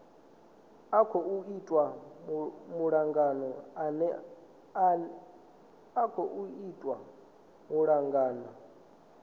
a khou itwa malugana nae